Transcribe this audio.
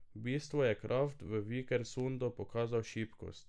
V bistvu je Kraft v Vikersundu pokazal šibkost.